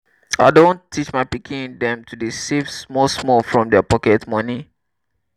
i don teach my pikin dem to dey save small small from their pocket moni.